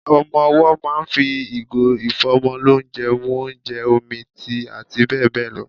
Ọmọ owọ́ máà ń fi ìgò ìfọ́mọlónjẹ mu ónjẹ, omi, tíì àti bẹ́ẹ̀ bẹ́ẹ̀ lọ.